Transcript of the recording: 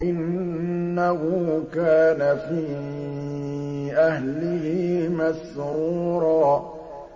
إِنَّهُ كَانَ فِي أَهْلِهِ مَسْرُورًا